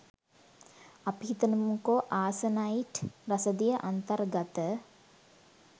අපි හිතමුකෝ ‍ආසනයිට් රසදිය අන්තර්ගත